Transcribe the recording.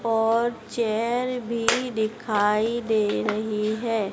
और चेयर भी दिखाई दे रही है।